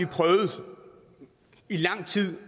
i lang tid